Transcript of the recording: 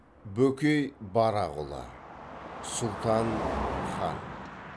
бөкей барақұлы сұлтан хан